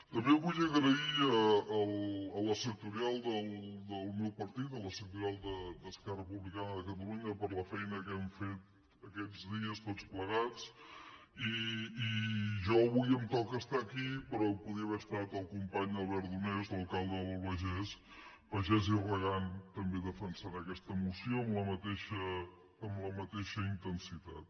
també vull agrair a la sectorial del meu partit a la sectorial d’esquerra republicana de catalunya la feina que hem fet aquests dies tots plegats i a mi avui em toca estar aquí però hi podria haver estat el company albert donés l’alcalde de l’albagés pagès i regant també defensant aquesta moció amb la mateixa intensitat